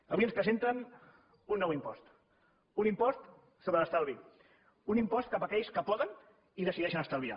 avui ens presenten un nou impost un impost sobre l’estalvi un impost cap a aquells que poden i decideixen estalviar